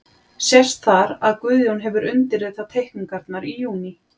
Sést þar, að Guðjón hefur undirritað teikningarnar í júní